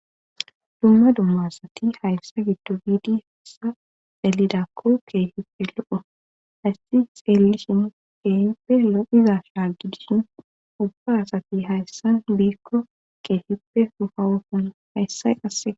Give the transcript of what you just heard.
dumma dumma asati hayssa giddo biidi hessa dalidakko keehipe lo7o haysti xeellishin keehippe lo7iza shaa gidishin ubba asati hayssan biikko keehippe sufawuson hayssay qasse